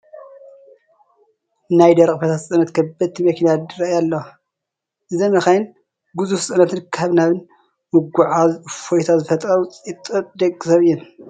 ናይ ደረቕን ፈሳስን ፅዕነት ከበድቲ መኪና ይርአያ ኣለዋ፡፡ እዘን መኻይን ግዙፍ ፅዕነታት ካብን ናብን ብምጒዕዓዝ እፎይታ ዝፈጥራ ውፅኢት ጥበብ ደቂ ሰብ እየን፡፡